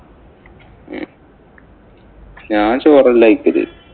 ഞാന്‍ ചോറല്ല കഴിക്കല്.